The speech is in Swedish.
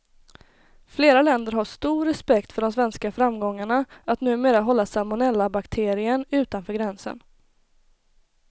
Flera länder har stor respekt för de svenska framgångarna att numera hålla salmonellabakterien utanför gränsen.